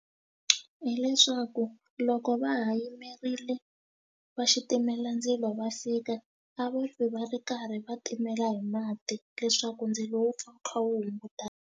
Hileswaku loko va ha yimerile vaxitimelandzilo va fika a va pfi va ri karhi va timela hi mati leswaku ndzilo wu pfa wu kha wu hungutana.